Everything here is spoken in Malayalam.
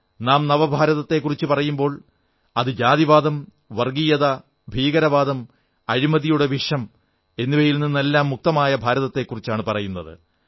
നാം നവഭാരതത്തെക്കുറിച്ചു പറയുമ്പോൾ അത് ജാതീയത വർഗ്ഗീയത ഭീകരവാദം അഴിമതിയുടെ വിഷം എന്നിവയിൽ നിന്നെല്ലാം മുക്തമായ ഭാരതത്തെക്കുറിച്ചാണു പറയുന്നത്